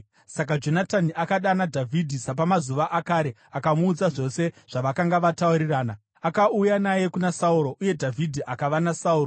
Saka Jonatani akadana Dhavhidhi sapamazuva akare akamuudza zvose zvavakanga vataurirana. Akauya naye kuna Sauro, uye Dhavhidhi akava naSauro.